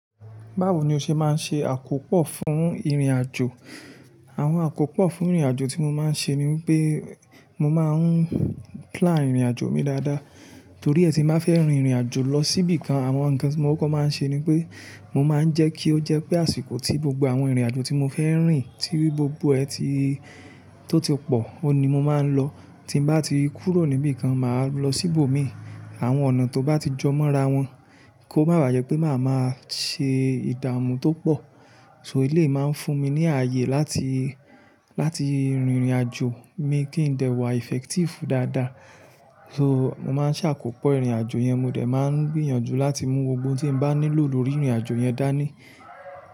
Báwo ni o ṣe máa ń ṣe àkópọ̀ fún ìrìnàjò? Àwọn àkópọ̀ fún ìrìnàjò tí mo máa ń ṣe ni wipé mo máa ń plan ìrìnàjò mi dáadáa. Torí ẹ́ tí n bá fẹ́ rin ìrìnàjò lọ síbí kan, àwọn nǹkan tí mo kọ́ko máa ń ṣe ni pé mo máa ń jẹ́ kí ó jẹ́ pé àsìkò tí gbogbo àwọn ìrìnàjò tí mo fẹ́ rìn tí o gbogbo ẹ́ tí ó ti pọ̀, òhun ni mo máa ń lọ. Tí n bá ti kúrò níbí kan, màá lọ síbò mi. Àwọn ọ̀nà tó bá ti jọ mọ́ra wọn kó má baà jẹ́ pé màá máa ṣe ìdààmú tó pọ̀. So eléyi máa ń fún mi ní ààyè láti, láti rin ìrìnàjò mi kí n dè wà effective dáadáa. So mo máa ń ṣàkópọ̀ ìrìnàjò yẹn, mo dẹ̀ máa ń gbìyànjú láti mú gbogbo n tí n bá nílò lórí ìrìnàjò yẹn dání.